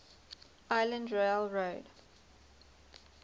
island rail road